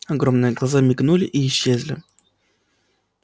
огромные глаза мигнули и исчезли